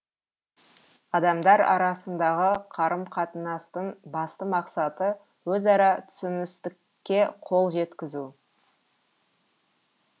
адамдар арасындағы қарым қатынастың басты мақсаты өзара түсіністікке қол жеткізу